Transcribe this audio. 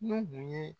N'u kun ye